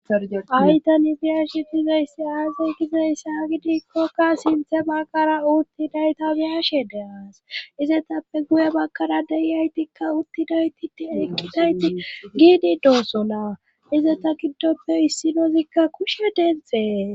aytani biyashe gizayssi aazay gizeyssa gidikkokka sinthe bakkara uuttidayta biyashe deas izetappe guye bakkara deiyaytikka uttiday titi eqqidayti giidi dosona ize ta giddoppe issinozikka kushe dentxhee